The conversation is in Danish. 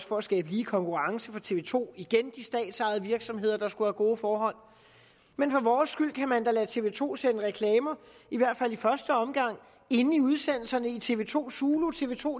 for at skabe lige konkurrence for tv to igen de statsejede virksomheder der skal have gode forhold men for vores skyld kan man da lade tv to sende reklamer i hvert fald i første omgang inde i udsendelserne i tv to zulu tv to